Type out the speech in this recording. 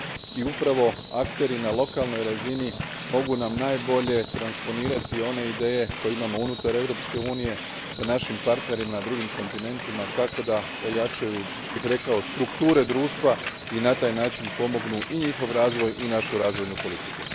i upravo akteri na lokalnoj razini mogu nam najbolje transponirati one ideje koje imamo unutar Europske unije s našim partnerima na drugim kontinentima kako da ojačaju, rekao bih, strukture društva i na taj način pomognu i njihov razvoj i našu razvojnu politiku.